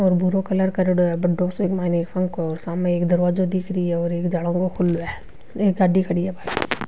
और भूरो कलर करेडो है बड़ो सो एक मायने पंखो सामने एक दरवाजो दिख रियो है और एक जलो खुलो है एक गाड़ी खड़ी है बहार।